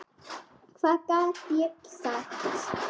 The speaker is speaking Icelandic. Hvað gat ég sagt?